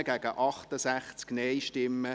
/ Décision du Grand Conseil : Annahme